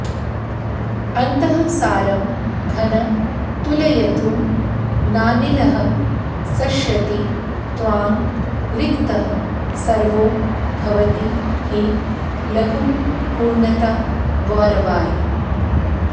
अन्तःसारं घन तुलयितुं नानिलः शक्ष्यति त्वां रिक्तः सर्वो भवति हि लघुः पूर्णता गौरवाय